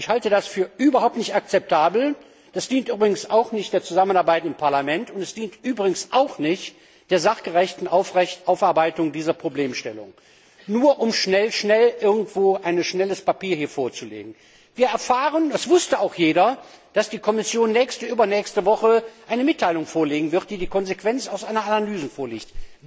Ich halte das für überhaupt nicht akzeptabel, das dient übrigens auch nicht der Zusammenarbeit im Parlament, und es dient übrigens auch nicht der sachgerechten Aufarbeitung dieser Problemstellung, nur schnell, schnell irgendwo ein schnelles Papier vorzulegen. Wir erfahren das wusste auch jeder dass die Kommission nächste, übernächste Woche eine Mitteilung vorlegen wird, die die Konsequenz aus Analysen zieht.